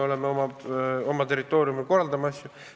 Me oma territooriumil korraldame asju ise.